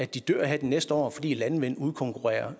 de dør her de næste år fordi landvind udkonkurrerer